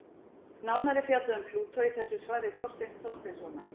Nánar er fjallað um Plútó í þessu svari Þorsteins Þorsteinssonar.